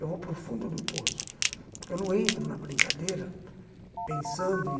Eu vou para o fundo do poço, porque eu não entro na brincadeira pensando em...